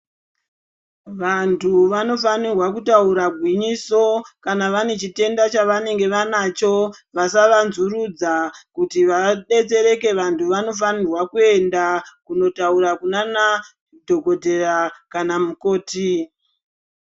Vantu vanofanirwa kutaura gwinyiso kana vane chitenda chavanenge vanacho, vasavanzurudza. Kuti vabetsereke vantu vanofanirwa kuenda kunotaura kunanadhokodheya kana mukoti.